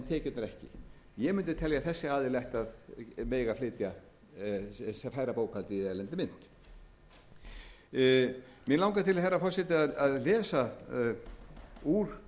tekjurnar ekki ég mundi telja að þessi aðili ætti að mega færa bókhaldið í erlendri munu mig langar til herra forseti að lesa úr